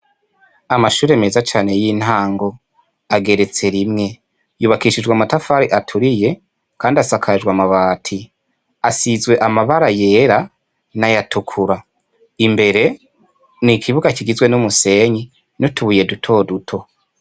Amashure meza cane y'intango ageretse rimwe, yubakishijwe amatafari aturiye kandi asakajwe amabati, asizwe amabara yera n'ayatukura. Imbere ni ikibuga kigizwe n'umusenyi n'utubuye dutoduto.